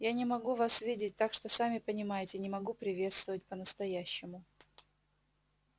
я не могу вас видеть так что сами понимаете не могу приветствовать по-настоящему